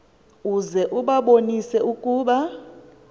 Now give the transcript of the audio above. uze ubabonise ukuba